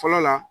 Fɔlɔ la